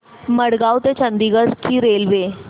मडगाव ते चंडीगढ ची रेल्वे